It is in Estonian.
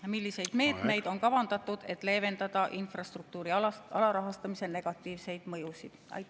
Ja milliseid meetmeid on kavandatud, et leevendada infrastruktuuri alarahastamise negatiivseid mõjusid?